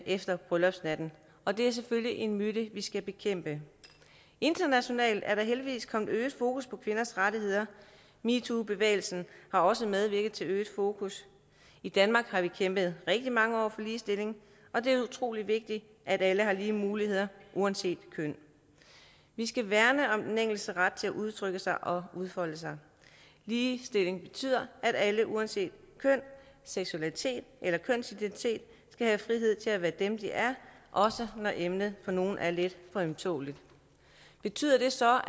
efter bryllupsnatten og det er selvfølgelig en myte vi skal bekæmpe internationalt er der heldigvis kommet øget fokus på kvinders rettigheder metoobevægelsen har også medvirket til øget fokus i danmark har vi kæmpet rigtig mange år for ligestilling og det er utrolig vigtigt at alle har lige muligheder uanset køn vi skal værne om den enkeltes ret til at udtrykke sig og udfolde sig ligestilling betyder at alle uanset køn seksualitet eller kønsidentitet skal have frihed til at være dem de er også når emnet for nogle er lidt for ømtåleligt betyder det så